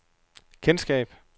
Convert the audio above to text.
kendskab